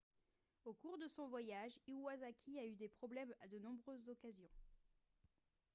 au cours de son voyage iwasaki a eu des problèmes à de nombreuses occasions